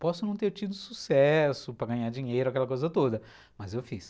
Posso não ter tido sucesso para ganhar dinheiro, aquela coisa toda, mas eu fiz.